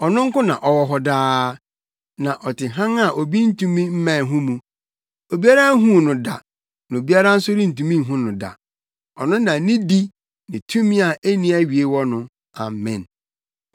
Ɔno nko na ɔwɔ hɔ daa, na ɔte hann a obi ntumi mmɛn ho mu. Obiara nhuu no da na obiara nso rentumi nhu no da. Ɔno na nidi ne tumi a enni awiei wɔ no. Amen.